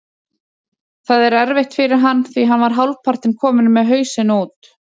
Það er erfitt fyrir hann því hann var hálfpartinn kominn með hausinn út.